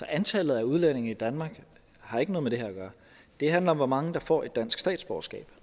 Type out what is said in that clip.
antallet af udlændinge i danmark har ikke noget med det her at gøre det handler om hvor mange der får et dansk statsborgerskab